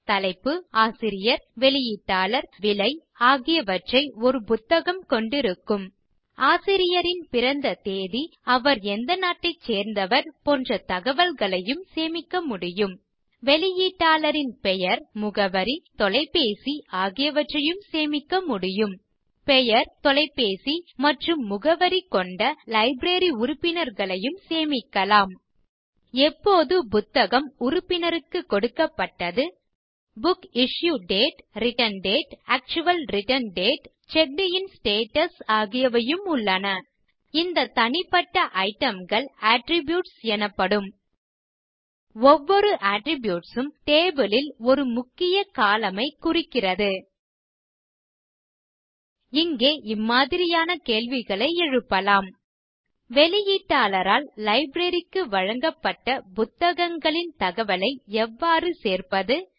தலைப்பு ஆசிரியர் வெளியீட்டாளர் மற்றும் விலை ஆகியவற்றை ஒரு புத்தகம் கொண்டிருக்கும் ஆசிரியரின் பிறந்த தேதி அவர் எந்த நாட்டை சேர்ந்தவர் போன்ற தகவல்களையும் சேமிக்க முடியும் வெளியீட்டாளரின் பெயர் முகவரி மற்றும் தொலைபேசி ஆகியவற்றையும் சேமிக்க முடியும் மேலும் பெயர் தொலைபேசி மற்றும் முகவரி கொண்ட லைப்ரரி உறுப்பினர்களையும் சேமிக்கலாம் எப்போது புத்தகம் உறுப்பினருக்கு கொடுக்கப்பட்டது book issue date return date actual return date மற்றும் செக்ட் இன் ஸ்டேட்டஸ் ஆகியவையும் உள்ளன இந்த தனிப்பட்ட itemகள் அட்ரிபியூட்ஸ் எனப்படும் ஒவ்வொரு அட்ரிபியூட்ஸ் உம் டேபிள் ல் ஒரு முக்கிய கோலம்ன் ஐ குறிக்கிறது இங்கே இம்மாதிரியான கேள்விகளை எழுப்பலாம் வெளியீட்டாளரால் லைப்ரரி க்கு வழங்கப்பட்ட புத்தகங்களின் தகவல்களை எவ்வாறு சேர்ப்பது